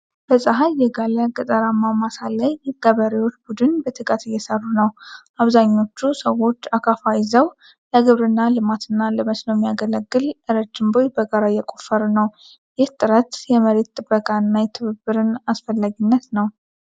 በፀሐይ የጋለ ገጠራማ ማሳ ላይ የገበሬዎች ቡድን በትጋት እየሰሩ ነው። አብዛኞቹ ሰዎች አካፋ ይዘው፣ ለግብርና ልማትና ለመስኖ የሚያገለግል ረጅም ቦይ በጋራ እየቆፈሩ ነው። ይህ ጥረት የመሬት ጥበቃንና የትብብርን አስፈላጊነት ነው።